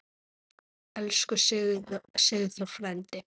Elsku Sigþór frændi.